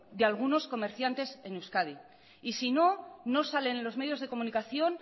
de algunos comerciantes en euskadi y si no no salen los medios de comunicación